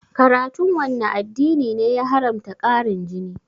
Karatun wanne addini ne ya haramta ƙarin jini?